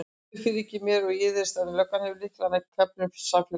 Guð fyrirgefur mér, ég iðrast en löggan hefur lyklana að klefum samfélagsins.